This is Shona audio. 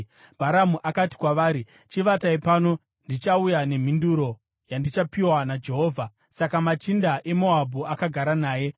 Bharamu akati kwavari, “Chivatai pano, ndichauya nemhinduro yandichapiwa naJehovha.” Saka machinda eMoabhu akagara naye.